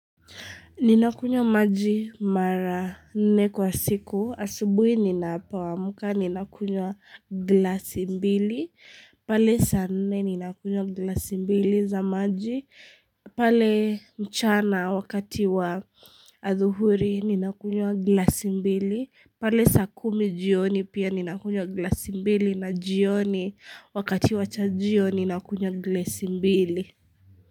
Ninakunywa maji mara nne kwa siku, asubui ninapo amka ninakunywa glasi mbili, pale sanne ninakunywa glasi mbili za maji, pale mchana wakati wa adhuhuri ninakunywa glasi mbili, pale sakumi jioni pia ninakunywa glasi mbili na jioni wakati wachajio ninakunywa glasi mbili.